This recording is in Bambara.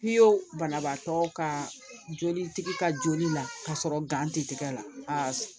Piyɔn banabaatɔ ka jolitigi ka joli la ka sɔrɔ tɛ tigɛ la